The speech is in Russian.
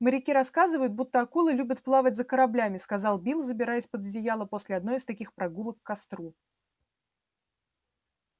моряки рассказывают будто акулы любят плавать за кораблями сказал билл забираясь под одеяло после одной из таких прогулок к костру